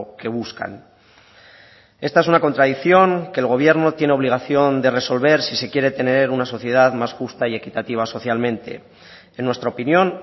que buscan esta es una contradicción que el gobierno tiene obligación de resolver si se quiere tener una sociedad más justa y equitativa socialmente en nuestra opinión